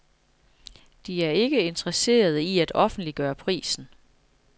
De er ikke interesserede i at offentliggøre prisen.